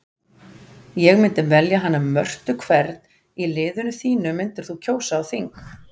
Ég myndi velja hana Mörtu Hvern í liðinu þínu myndir þú kjósa á þing?